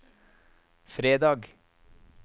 fredag